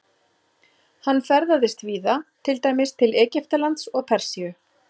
Hann ferðaðist víða, til dæmis til Egyptalands og Persíu.